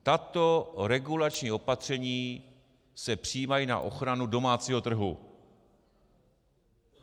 Tato regulační opatření se přijímají na ochranu domácího trhu.